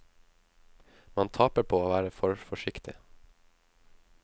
Man taper på å være for forsiktig.